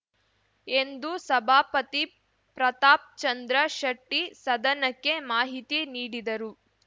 ಎಂದು ಸಭಾಪತಿ ಪ್ರತಾಪ್‌ಚಂದ್ರ ಶೆಟ್ಟಿಸದನಕ್ಕೆ ಮಾಹಿತಿ ನೀಡಿದರು